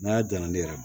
N'a y'a dan na ne yɛrɛ ma